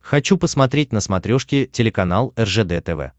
хочу посмотреть на смотрешке телеканал ржд тв